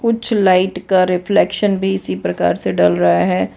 कुछ लाइट का रिफ्लेक्शन भी इसी प्रकार से डल रहा है।